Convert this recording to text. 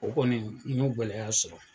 O kɔni n y'o gɛlɛlɛya sɔrɔ